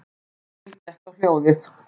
Emil gekk á hljóðið.